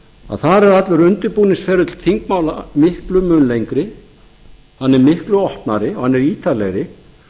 að þar er allur undirbúningsferli þingmála miklum mun lengri hann er miklu opnari og hann er ítarlegri